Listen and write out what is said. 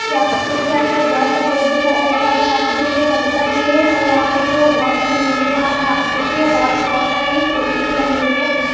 यहा पे देखिये आपको बड़ा सा पेड़ दिखाई दे रहा होगा | यहा पे देखिये एक अंकल भी है और यहा पे जो वाल बनी हुई है बाहर यहा पे देखिये वाल पे बहुत सारी पेंटिंग बनी हुई है।